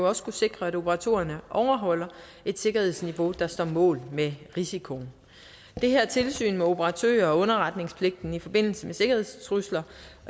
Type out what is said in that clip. også skulle sikre at operatørerne overholder et sikkerhedsniveau der står mål med risikoen det her tilsyn med operatører og underretningspligten i forbindelse med sikkerhedstrusler